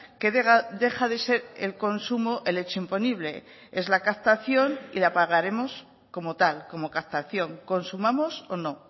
que deja de ser el consumo el hecho imponible es la captación y la pagaremos como tal como captación consumamos o no